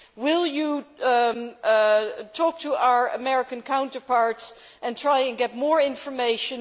Will they talk to our American counterparts and try and get more information?